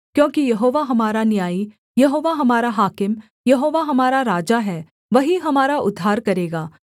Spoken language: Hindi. क्योंकि यहोवा हमारा न्यायी यहोवा हमारा हाकिम यहोवा हमारा राजा है वही हमारा उद्धार करेगा